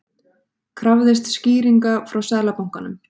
Krafðist skýringa frá Seðlabankanum